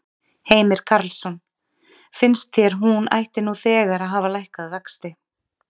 Heimir Karlsson: Finnst þér hún ætti nú þegar að hafa lækkað vexti?